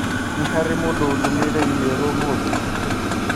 Nĩ harĩ mũndũ ũndũmĩire i-mīrū ũmũthĩ?